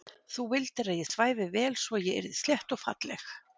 Þú vildir að ég svæfi vel svo ég yrði slétt og falleg.